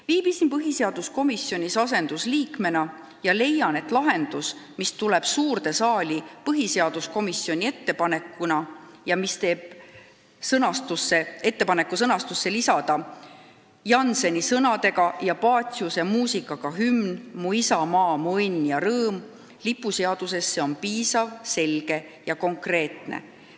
Viibisin põhiseaduskomisjonis asendusliikmena ja leian, et lahendus, mis tuleb suurde saali põhiseaduskomisjonist ning mis teeb ettepaneku lipuseaduses mainida Jannseni sõnadega ja Paciuse muusikaga hümni "Mu isamaa, mu õnn ja rõõm" on piisav, selge ja konkreetne.